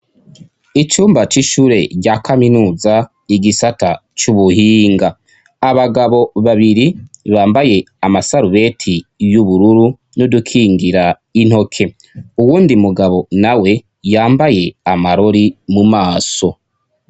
Icumba c'ishure rya kaminuza, igisata c'ubuhinga. Abagabo babiri bambaye amasarubeti y'ubururu n'udukingira intoke. Uwundi mugabo na we, yambaye amarori mu maso.